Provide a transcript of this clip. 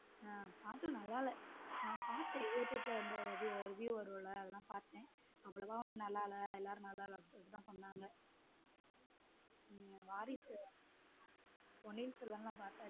ஹம் part two நல்லா இல்ல பார்த்தேன் youtube review வரும்ல அதெல்லாம் பார்த்தேன் அவ்வளவுதான் ஒன்னும் நல்லா இல்ல எல்லாரும் நல்லா இல்ல அப்படி தான் சொன்னாங்க உம் வாரிசு பொன்னின் செல்வன் எல்லாம் பாத்தாச்சு.